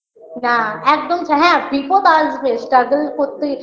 না একদম ছাড় হ্যাঁ বিপদ আসবে struggle করতেই